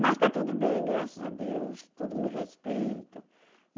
Mas está tudo bem, graças a Deus, todos me respeitam.